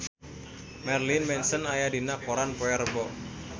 Marilyn Manson aya dina koran poe Rebo